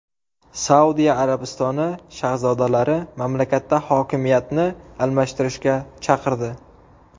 Saudiya Arabistoni shahzodalari mamlakatda hokimiyatni almashtirishga chaqirdi.